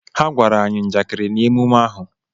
Ha gwara anyi njakịrị na emume ahu